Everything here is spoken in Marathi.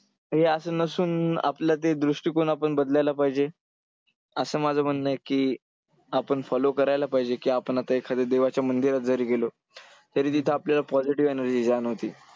हे असं नसून आपलं ते दृष्टिकोन आपण बदलायला पाहिजे. असं माझं म्हणणं आहे की आपण follow करायला पाहिजे की आपण आता एखाद्या देवाच्या मंदिरात जरी गेलो तरी तिथं आपल्याला positive energy जाणवते.